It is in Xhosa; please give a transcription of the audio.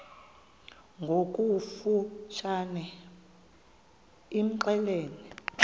ngokofu tshane imxelele